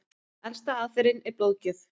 Elsta aðferðin er blóðgjöf.